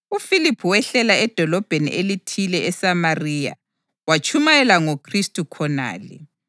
UFiliphu wehlela edolobheni elithile eSamariya watshumayela ngoKhristu khonale.